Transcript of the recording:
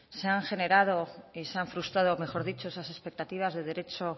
se han generado y se han frustrado mejor dicho esas expectativas de derecho